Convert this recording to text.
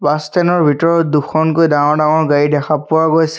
Bus stand ৰ ভিতৰত দুখনকৈ ডাঙৰ ডাঙৰ গাড়ী দেখা পোৱা গৈছে।